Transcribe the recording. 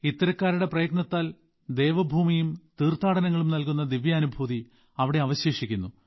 ഇത്തരക്കാരുടെ പ്രയത്നത്താൽ ഭൂമിയും തീർത്ഥാനടങ്ങളും നൽകുന്ന ദിവ്യാനുഭൂതി അവിടെ അവശേഷിക്കുന്നു